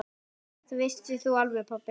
Þetta vissir þú alveg pabbi.